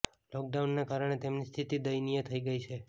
લોકડાઉનને કારણે તેમની સ્થિતિ દયનીય થઈ ગઈ છે